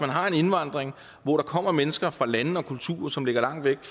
har en indvandring hvor der kommer mennesker fra lande og kulturer som ligger langt væk